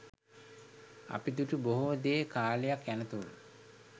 අපි දුටු බොහෝ දේ කාලයක් යනතුරු